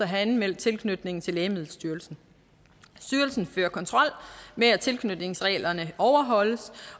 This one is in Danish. have anmeldt tilknytningen til lægemiddelstyrelsen styrelsen fører kontrol med at tilknytningsreglerne overholdes